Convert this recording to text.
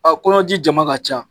Aa kɔɲɔji jama ka ca.